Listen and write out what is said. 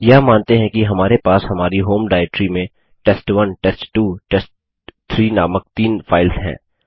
हम मानते हैं कि हमारे पास हमारी होम डाइरेक्टरी में टेस्ट1 टेस्ट2 टेस्ट3 नामक तीन फाइल्स हैं